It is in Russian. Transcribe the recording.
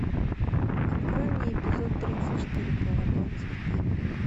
открой мне эпизод тридцать четыре половое воспитание